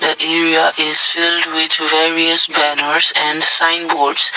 the area is various banners and sign boards.